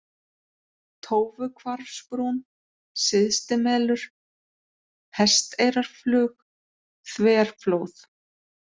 Tófuhvarfsbrún, Syðstimelur, Hesteyrarflug, Þverflóð